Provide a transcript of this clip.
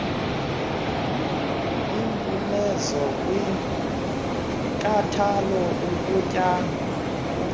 impumezo kwinkathalo ukunyangwa